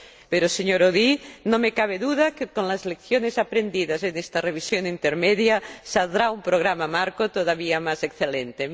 Pero, señor Audy, no me cabe duda de que, con las lecciones aprendidas en esta revisión intermedia, saldrá un Programa Marco todavía más excelente.